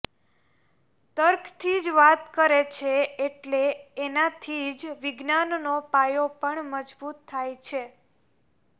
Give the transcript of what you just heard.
તર્કથી જ વાત કરે છે એટલે એનાથી જ વિજ્ઞાનનો પાયો પણ મજબૂત થાય છે